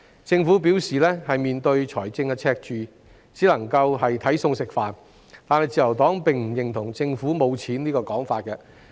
政府表示，面對財政赤字，只能夠"睇餸食飯"，但自由黨並不認同政府缺錢的說法。